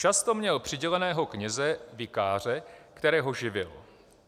Často měl přiděleného kněze, vikáře, kterého živil.